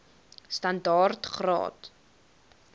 standaard graad or